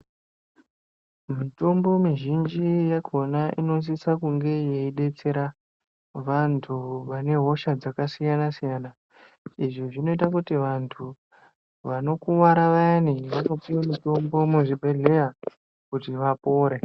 Mitombo mizhinji yakona inosisa kunge yeidetsera vanhu vane hosha dzakasiyanasiyana izvi zvinoita kuti vanhu vanokuwara vayani vanopiwe mitombo muzvibhehleya kuti vapore .